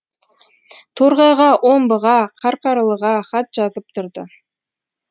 торғайға омбыға қарқаралыға хат жазып тұрды